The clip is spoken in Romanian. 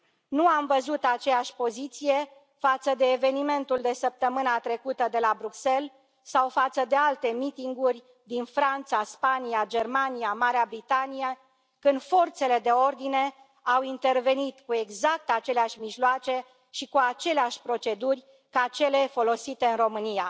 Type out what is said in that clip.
Nu am văzut aceeași poziție față de evenimentul de săptămîna trecută de la Bruxelles sau față de alte mitinguri din Franța, Spania, Germania, Marea Britanie, când forțele de ordine au intervenit cu exact aceleași mijloace și cu aceleași proceduri ca cele folosite în România.